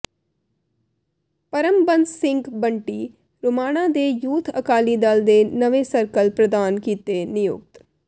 ਪਰਮਬੰਸ ਸਿੰਘ ਬੰਟੀ ਰੋਮਾਣਾ ਨੇ ਯੂਥ ਅਕਾਲੀ ਦਲ ਦੇ ਨਵੇਂ ਸਰਕਲ ਪ੍ਰਧਾਨ ਕੀਤੇ ਨਿਯੁਕਤ